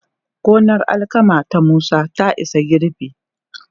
Gonar alkama ta Musa ta isa girbi.